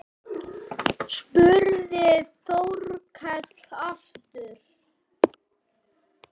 spurði Þórkell aftur.